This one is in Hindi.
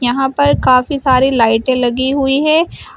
यहां पर काफी सारी लाइटें लगी हुई हैं।